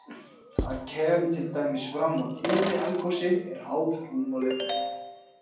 Þar kemur til dæmis fram að tíðni eldgosi er háð rúmmáli þeirra.